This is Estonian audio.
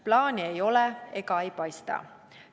Plaani ei ole ega ka ei paista.